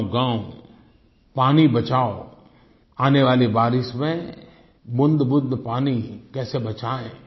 गाँवगाँव पानी बचाओ आने वाली बारिश में बूँदबूँद पानी कैसे बचाएँ